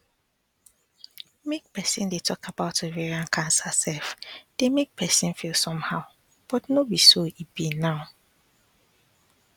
make persin dey talk about ovarian cancer sef dey make persin feel somehow but no be so e be now